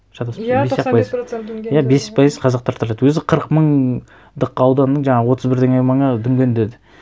шатаспасам бес ақ пайыз иә бес пайыз қазақтар тұрады өзі қырық мыңдық ауданның жаңағы отыз бірдеңе мыңы дүнген деді